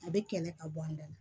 A bɛ kɛlɛ ka bɔ an da la